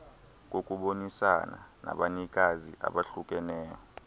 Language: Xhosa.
kokubonisana nabanikazi abahlukeneyo